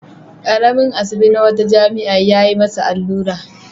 Ƙaramain asibi na wata jami'a ya yi masa allura.